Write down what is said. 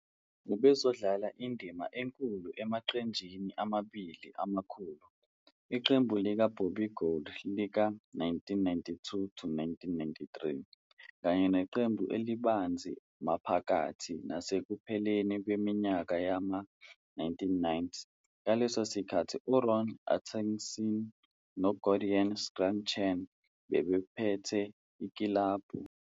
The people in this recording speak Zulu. Ubezodlala indima enkulu emaqenjini amabili amakhulu, iqembu likaBobby Gould lika-1992 to 1993 kanye neqembu elibanzi maphakathi nasekupheleni kweminyaka yama-1990, ngaleso sikhathi uRon Atkinson noGordon Strachan babephethe ikilabhu.